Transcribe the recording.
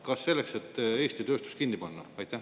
Kas selleks, et Eesti tööstus kinni panna?